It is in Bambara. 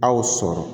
Aw sɔrɔ